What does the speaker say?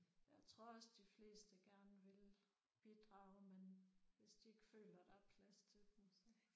Jeg tror også de fleste gerne vil bidrage men hvis de ikke føler der er plads til dem så